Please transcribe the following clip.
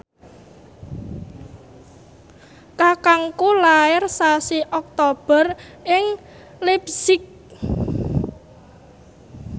kakangku lair sasi Oktober ing leipzig